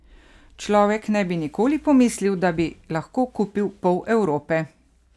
Človek ne bi nikoli pomislil, da bi lahko kupil pol Evrope!